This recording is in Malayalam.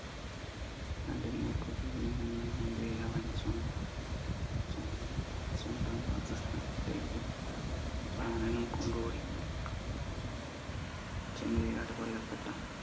മുൻപേ അവൻ സ്വന്തം സ്വ സ്വന്തം വസത ത്തേക്ക് പ്രാണനും കൊണ്ട് ഓടി ചെമ്മരിയാട് കൊല്ലപ്പെട്ട